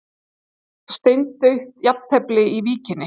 Steindautt jafntefli í Víkinni